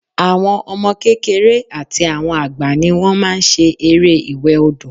Àwọn ọmọ kékeré àti àwọn àgbà ni wọ́n máa n ṣe eré ìwẹ̀ odò